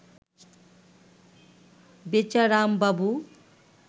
বেচারামবাবু